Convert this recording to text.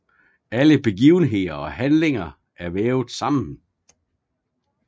Alle begivenheder og handlinger er vævet sammen